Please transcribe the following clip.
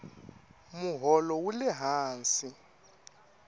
moholo wule hansi